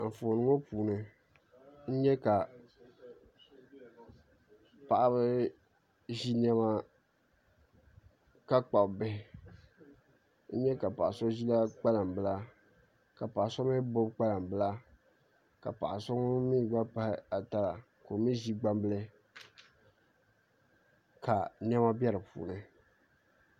Anfooni ŋo puuni n nyɛ ka paɣaba ʒi niɛma ka kpabi bihi n nyɛ ka paɣa so ʒila kpalanbilia ka paɣa so mii gbubi kpalanbila ka paɣa so ŋun mii gba pahi ata la ka o mii ʒi gbambila ka niɛma bɛ di puuni